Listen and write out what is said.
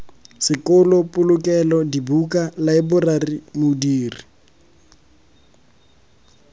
sekolo polokelo dibuka laeborari modiri